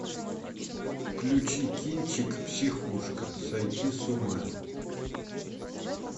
включи кинчик психушка сойти с ума